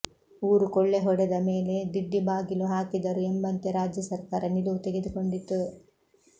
ಊರು ಕೊಳ್ಳೆ ಹೊಡೆದ ಮೇಲೆ ದಿಡ್ಡಿ ಬಾಗಿಲು ಹಾಕಿದರು ಎಂಬಂತೆ ರಾಜ್ಯ ಸರ್ಕಾರ ನಿಲುವು ತೆಗೆದುಕೊಂಡಿತು